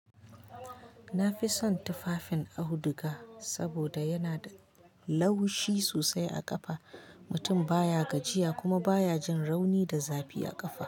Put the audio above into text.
Na fi son tufafin auduga saboda yana da laushi sosai a kafa. Mutum baya gajiya kuma baya jin rauni da zafi a kafa.